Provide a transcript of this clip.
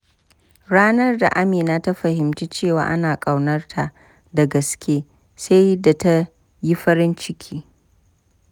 Ranar da Amina ta fahimci cewa ana ƙaunarta da gaske, sai da ta yi farin ciki.